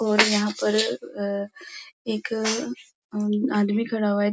और यहाँ पर एक आदमी खड़ा हुआ है।